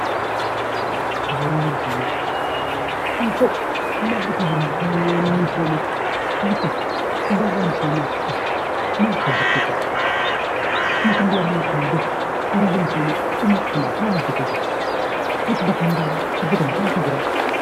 Bu'uuraalee misoomaa maaliif bu'uuraaleen misoomaa biyyi Kun bu'uuraalee misoomaa maal fa'aa hojjettee qabdi? Mootummaan biyya kana bulchu dhimmoota bu'uuraalee misoomaa maal itti kennee jira? Waanti hojjetamu maaltu jira amma?